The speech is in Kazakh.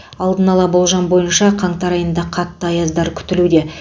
алдын ала болжам бойынша қаңтар айында қатты аяздар күтілуде